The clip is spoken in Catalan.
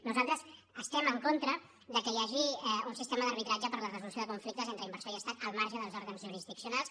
nosaltres estem en contra que hi hagi un sistema d’arbitratge per a la resolució de conflictes entre inversor i estat al marge dels òrgans jurisdiccionals